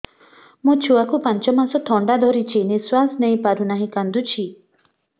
ମୋ ଛୁଆକୁ ପାଞ୍ଚ ମାସ ଥଣ୍ଡା ଧରିଛି ନିଶ୍ୱାସ ନେଇ ପାରୁ ନାହିଁ କାଂଦୁଛି